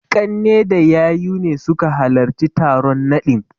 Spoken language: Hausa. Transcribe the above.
Ƙanne da yayu ne suka halarci taron naɗin.